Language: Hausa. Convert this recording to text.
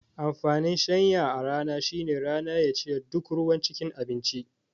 Amfanin shanya a rana shine rana ya cire duk ruwan cikin abinci